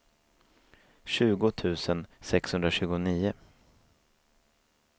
tjugo tusen sexhundratjugonio